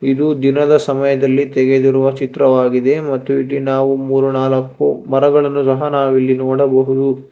ಇದು ದಿನದ ಸಮಯದಲ್ಲಿ ತೆಗೆದಿರುವ ಚಿತ್ರವಾಗಿದೆ ಮತ್ತು ಇಲ್ಲಿ ನಾವು ಮೂರು ನಾಲ್ಕು ಗಿಡಮರಗಳನ್ನು ಸಹ ನಾವ್ ಇಲ್ಲಿ ನೋಡಬಹುದು.